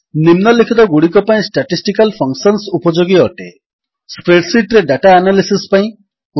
ନିମ୍ନଲିଖିତଗୁଡ଼ିକ ପାଇଁ statistical functions ଉପଯୋଗୀ ଅଟେ ସ୍ପ୍ରେଡ୍ ଶୀଟ୍ ରେ ଡାଟା ଆନାଲିସିସ୍ ପାଇଁ